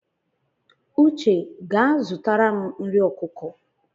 Uche gaa zụtara m nri ọkụkọ!